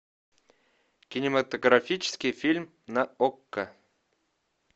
кинематографический фильм на окко